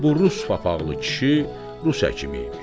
Bu rus papaqlı kişi rus həkimi imiş.